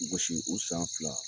Gosi u san fila